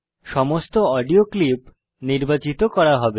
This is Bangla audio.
সমস্ত অডিও ক্লিপ নির্বাচিত করা হবে